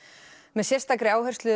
með sérstakri áherslu